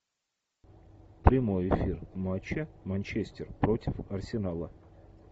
прямой эфир матча манчестер против арсенала